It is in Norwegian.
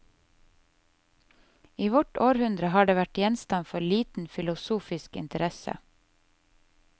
I vårt århundre har det vært gjenstand for liten filosofisk interesse.